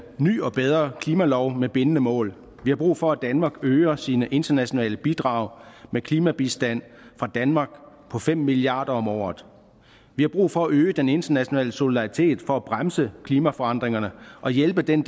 ny og bedre klimalov med bindende mål vi har brug for at danmark øger sine internationale bidrag med klimabistand fra danmark på fem milliard kroner om året vi har brug for at øge den internationale solidaritet for at bremse klimaforandringerne og hjælpe den